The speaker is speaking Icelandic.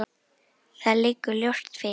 Það liggur ljóst fyrir.